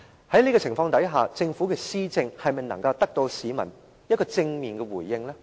在這種情況下，政府的施政能否得到市民的正面回應呢？